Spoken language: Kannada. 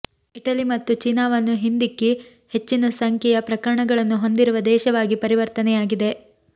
ಇಟಲಿ ಮತ್ತು ಚೀನಾವನ್ನು ಹಿಂದಿಕ್ಕಿ ಹೆಚ್ಚಿನ ಸಂಖ್ಯೆಯ ಪ್ರಕರಣಗಳನ್ನು ಹೊಂದಿರುವ ದೇಶವಾಗಿ ಪರಿವರ್ತನೆಯಾಗಿದೆ